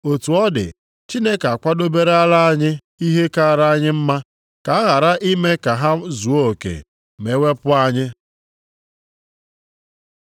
Otu ọ dị, Chineke akwadoberela anyị ihe kaara anyị mma, ka a ghara ime ka ha zuo oke ma e wepụ anyị.